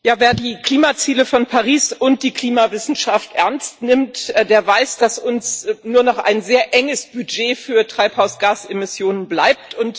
Herr Präsident! Wer die Klimaziele von Paris und die Klimawissenschaft ernst nimmt, weiß, dass uns nur noch ein sehr enges Budget für Treibhausgasemissionen bleibt.